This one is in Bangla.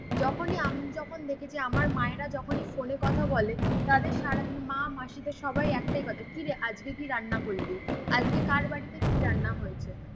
যখনি আমি যখন দেখি যে আমার মায়েরা যখনি ফোনে কথা বলে তাদের সারাদিন মা মাসিদের সবার একটাই কথা কিরে আজকে কি রান্না করলি? আজকে কার বাড়িতে কি রান্না হয়েছে।